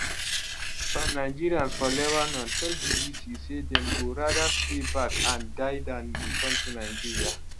some nigerians for lebanon tell bbc say dem go rather stay back and die dan return to nigeria